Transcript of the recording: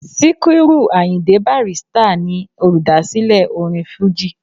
Síkírù Àyìndé Bàrístà ni olùdásílẹ̀ orin fújì